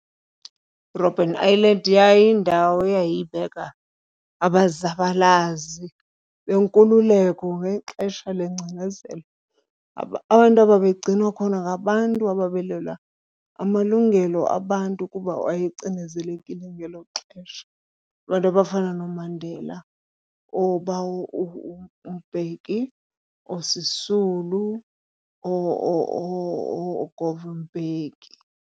iRobben Island yayiyindawo eyayibeka abazabalazi benkululeko ngexesha lengcinezelo. Abantu ababegcinwa khona ngabantu abalwela amalungelo abantu kuba wayecinezelekile ngelo xesha. Abantu abafana nooMandela, oobawo uMbeki, ooSisulu, ooGovan Mbeki.